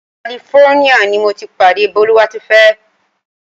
California ni mo ti pàdé Bólúwátifẹ́.